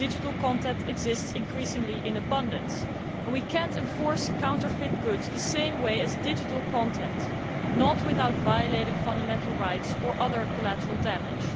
digital contact exists increasingly in abundance and we cannot enforce counterfeit goods the same way as we do digital content, not without violating fundamental rights or other collateral damage.